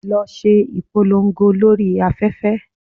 Lọ ṣe ìpolongo lórí afẹ́fẹ́!